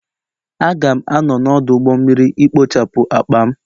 Aga'm a-anọ n'ọdụ ụgbọ mmiri ikpochapụ akpa m